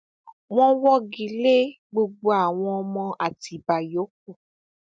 wọn wọgi lé gbogbo àwọn ọmọ àtibá yòókù